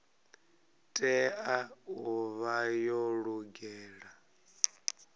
tea u vha yo lugela